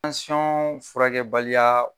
Tanson furakɛbaliya